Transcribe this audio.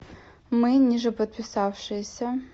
мы нижеподписавшиеся